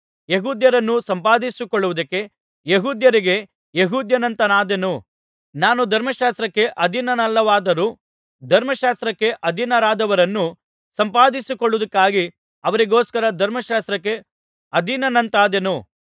ಯೆಹೂದ್ಯರನ್ನು ಸಂಪಾದಿಸಿಕೊಳ್ಳುವುದಕ್ಕೆ ಯೆಹೂದ್ಯರಿಗೆ ಯೆಹೂದ್ಯನಂತಾದೆನು ನಾನು ಧರ್ಮಶಾಸ್ತ್ರಕ್ಕೆ ಅಧೀನನಲ್ಲದವನಾದರೂ ಧರ್ಮಶಾಸ್ತ್ರಕ್ಕೆ ಅಧೀನರಾದವರನ್ನು ಸಂಪಾದಿಸಿಕೊಳ್ಳುವುದಕ್ಕಾಗಿ ಅವರಿಗೋಸ್ಕರ ಧರ್ಮಶಾಸ್ತ್ರಕ್ಕೆ ಅಧೀನನಂತಾದೆನು